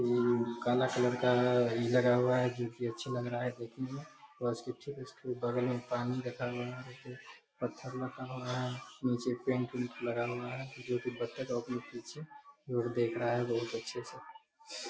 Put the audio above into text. ए उ काला कलर का है लगा हुआ है जो की अच्छा लग रहा है देखने में और इसके ठीक इसके बगल में पानी रखा गया एगो पत्थर रखा हुआ है नीचे जो की पत्थर रखा हुआ हैं नीचे पेंट उंट लगा हुआ है लोग देख रहा है बहुत अच्छे से।